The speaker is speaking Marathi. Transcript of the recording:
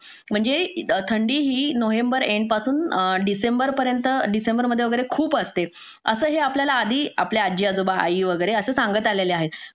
म्हणजे थंडीही नोव्हेंबर एंड पासून डिसेंबर डिसेंबर मध्ये वगैरे खूप असते असं हे आधी आपल्याला आपले आजी आजोबा आई वगैरे सांगत आलेले आहे